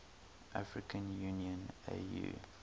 african union au